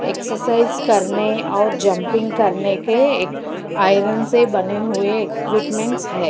Exercise करने और jumping करने के आयरन से बने हुए इक्विपमेंट्स है।